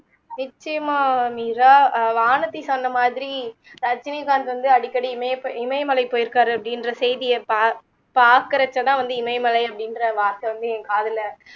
நிச்சயமா மீரா அஹ் வானதி சொன்ன மாதிரி ரஜினி fans வந்து அடிக்கடி வந்து இமயப் இமயமலை போயிருக்காரு அப்படிங்குற செய்திய பா பாக்குறத்த தான் இமயமலை அப்படின்ற வார்த்தை வந்து என் காதுல